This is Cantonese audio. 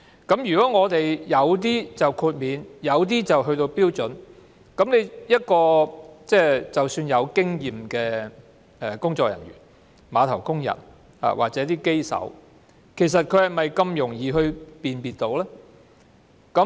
由於有些貨櫃獲得豁免，有些貨櫃則已符合標準，有經驗的工作人員、碼頭工人或機手是否這麼容易分辨？